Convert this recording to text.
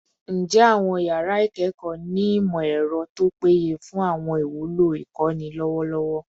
Njẹ awọn yara ikẹkọ ni imọ-ẹrọ to peye fun awọn iwulo ikọni lọwọlọwọ?